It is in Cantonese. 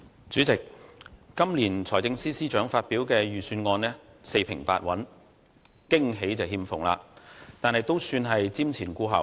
主席，今年財政司司長發表的財政預算案四平八穩，驚喜欠奉，但亦算瞻前顧後。